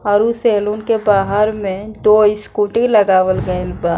और उ सैलून के बाहर में दो स्कूटी लगावल गइल बा।